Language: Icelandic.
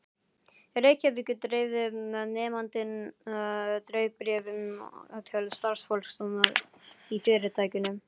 Reykjavíkur, dreifði nemandinn dreifibréfi til starfsfólks í fyrirtækinu.